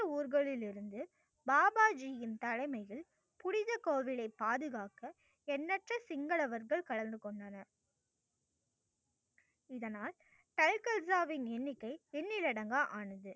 ஊர்களிலிருந்து பாபா ஜியின் தலைமையில் புனித கோயிலை பாதுகாக்க எண்ணற்ற சிங்களவர்கள் கலந்து கொண்டனர். இதனால் கல்கல் சாயின் எண்ணிக்கை எண்ணில் அடங்க ஆனது.